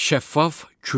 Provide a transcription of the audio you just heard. Şəffaf kürə.